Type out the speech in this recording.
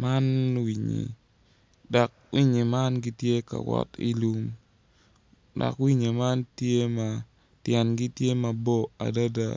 Man winynyi dok winynyi tye ka wot ilum dok winynyi man tye ma tyengi tye mabor adada